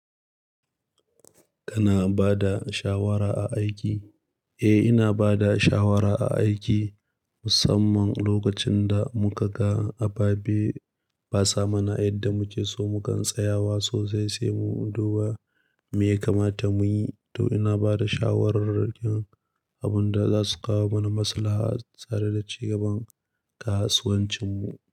Kana ba da shawara a aiki? Eh, ina ba da shawara a aiki musamman lokacin da muka ga abu bai sa mana yadda muke so, mukan tsaya wasu saisai mu duba me ya kamata mu yi. To ina ba da shawarar abin da za su kawo mana masalaha tare da ci gaban kasuwancin mu.